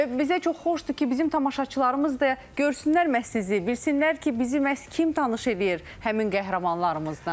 Və bizə çox xoşdur ki, bizim tamaşaçılarımız da görsünlər məhz sizi, bilsinlər ki, bizi məhz kim tanış eləyir həmin qəhrəmanlarımızdan.